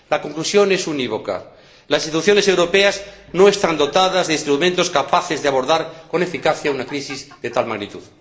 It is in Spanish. La conclusión es unívoca las instituciones europeas no están dotadas de instrumentos capaces de abordar con eficacia una crisis de tal magnitud.